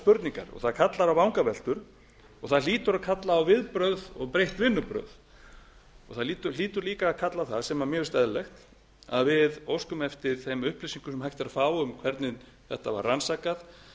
spurningar og það kallar á vangaveltur og það hlýtur að kalla á viðbrögð og breytt vinnubrögð það hlýtur líka að kalla á það sem mér finnst eðlilegt að við óskum eftir þeim upplýsingum sem hægt er að fá um hvernig þetta var rannsakað